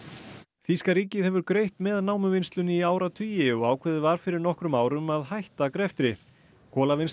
þýska ríkið hefur greitt með námuvinnslunni í áratugi og ákveðið var fyrir nokkrum árum að hætta greftri